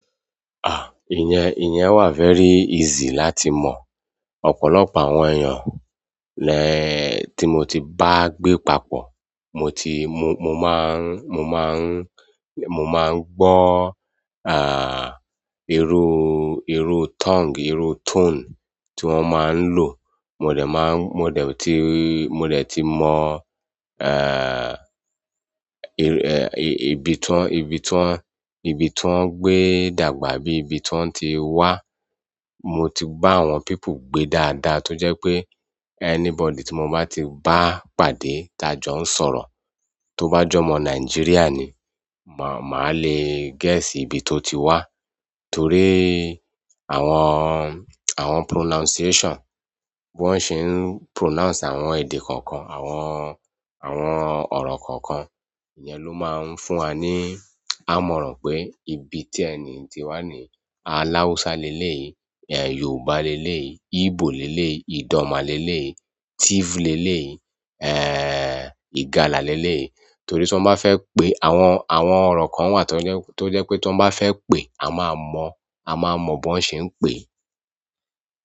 Ah! Íyẹn, ìyẹn wà very easy láti mọ̀. Ọ̀pọ̀lọpọ̀ àwọn èèyàn lẹ tí mo ti bá gbé papọ̀, mo ti, mo, mo máa ń, mo máa ń, mo máa ń gbọ́ ah irú, irú tongue, irú tone tí wọ́n máa ń lò. Mò dẹ̀ máa ń, mò dẹ̀ ti, mò dẹ̀ ti mọ eh ibi tí wọ́n, ibi tí wọ́n, ibi tí wọ́n gbé dàgbà bí ibi tí wọ́n ti wá. Mo ti bá àwọn people gbé dáadáa tó jẹ́ pé anybody tí mo bá ti bá pàdé tá jọ ń sọ̀rọ̀, tó bá jọ mọ Nigeria ni, mà, màá le guess ibi tó ti wá. Torí àwọn, àwọn pronunciation, bí wọ́n ṣe ń pronounce àwọn èdè kọ̀ọ̀kan, àwọn, àwọn ọ̀rọ̀ kọ̀ọ̀kan. Ìyẹn ló máa ń fún wa ní ámọ̀ran pé ibi tí ẹni ti wá ni Aláùsá lélèyi, eh Yorùbá lélèyi, Íbò lélèyi, Ìdọ̀ma lélèyi, Tìfù lélèyi, eh ìgàlà lélèyi. Torí tí wọ́n bá fẹ́ pe àwọn, àwọn ọ̀rọ̀ kan wà tó jẹ́, tó jẹ́ pé tí wọ́n bá fẹ́ pè a máa mọ̀, a máa mọ̀ bí wọ́n ṣe ń pè é.